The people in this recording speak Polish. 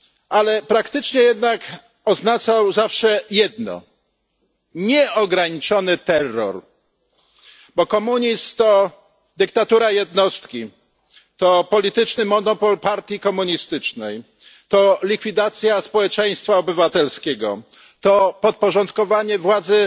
Ale praktycznie jednak oznaczał zawsze jedno nieograniczony terror, bo komunizm to dyktatura jednostki, to polityczny monopol partii komunistycznej, to likwidacja społeczeństwa obywatelskiego, to podporządkowanie władzy